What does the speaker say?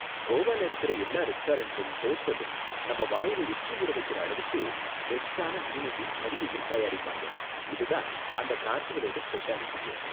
கோவால இருக்குற எல்லா ரெஸ்டாரண்ட்டும் ஹோட்டலும் நம்ம வாயில எச்சி ஊற வைக்குற அளவுக்கு பெஸ்ட்டான மீனையும் கறியையும் தயாரிப்பாங்க, இது தான் அந்த கார்னிவலோட ஸ்பெஷாலிடியே.